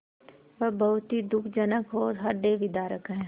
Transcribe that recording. वह बहुत ही दुःखजनक और हृदयविदारक है